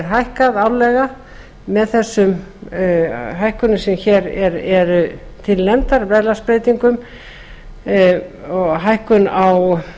hækkað árlega með þessum hækkunum sem eru til nefndar verðlagsbreytingum og hækkun á